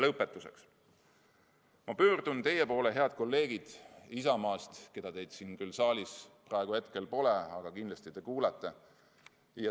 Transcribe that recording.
Lõpetuseks pöördun ma teie poole, head kolleegid Isamaast, keda siin saalis praegu pole, aga kindlasti te kuulate.